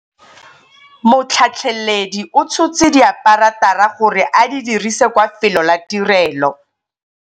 Motlhatlheledi o tshotse diaparatara gore a di dirise kwa felô la tirêlô.